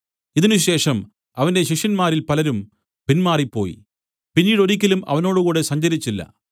ഇതിനുശേഷം അവന്റെ ശിഷ്യന്മാരിൽ പലരും പിൻമാറിപ്പോയി പിന്നീടൊരിക്കലും അവനോടുകൂടെ സഞ്ചരിച്ചില്ല